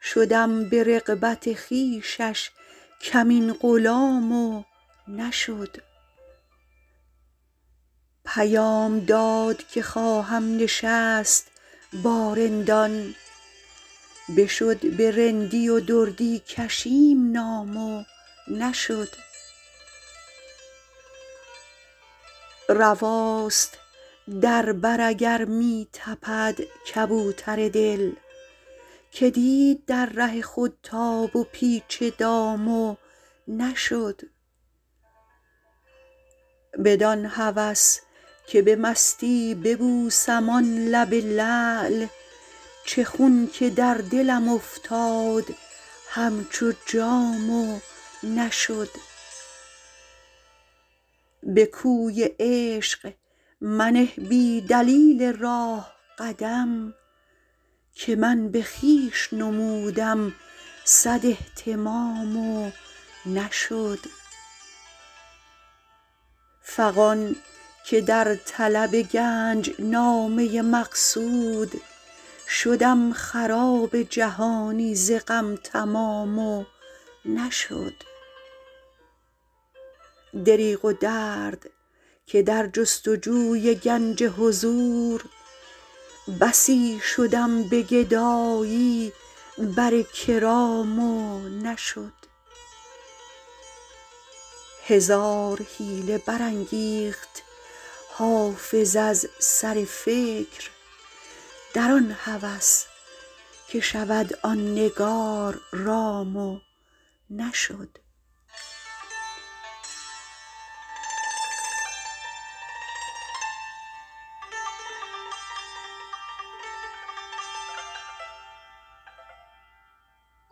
شدم به رغبت خویشش کمین غلام و نشد پیام داد که خواهم نشست با رندان بشد به رندی و دردی کشیم نام و نشد رواست در بر اگر می تپد کبوتر دل که دید در ره خود تاب و پیچ دام و نشد بدان هوس که به مستی ببوسم آن لب لعل چه خون که در دلم افتاد همچو جام و نشد به کوی عشق منه بی دلیل راه قدم که من به خویش نمودم صد اهتمام و نشد فغان که در طلب گنج نامه مقصود شدم خراب جهانی ز غم تمام و نشد دریغ و درد که در جست و جوی گنج حضور بسی شدم به گدایی بر کرام و نشد هزار حیله برانگیخت حافظ از سر فکر در آن هوس که شود آن نگار رام و نشد